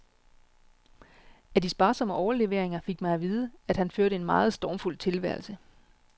Af de sparsomme overleveringer fik man at vide, at han førte en meget stormfuld tilværelse.